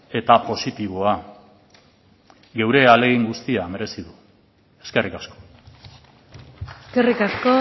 eta positiboa geure ahalegin guztia merezi du eskerrik asko eskerrik asko